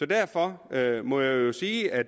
derfor må jeg jo sige at